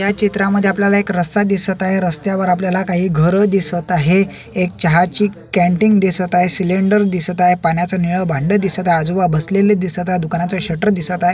या चित्रामध्ये आपल्याला एक रस्ता दिसत आहे रस्त्यावर आपल्याला काही घर दिसत आहे एक चहाची कँटिन दिसत आहे सिलेंडर दिसत आहे पाण्याच निळ भांड दिसत आहे आजोबा बसलेले दिसत आहेत दुकानाच शटर दिसत आहे.